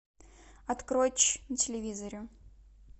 открой ч на телевизоре